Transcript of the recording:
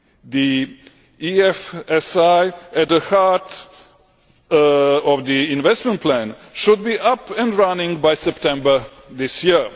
The EFSI at the heart of the Investment Plan should be up and running by September this year.